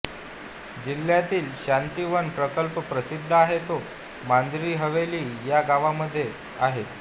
जिल्हयातील शांतीवन प्रकल्प प्रसिद्ध आहे तो मंझरी हवेली या गावांमध्ये आहे